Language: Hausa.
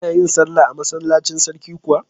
Kana yin sallah a masallacin sarki kuwa?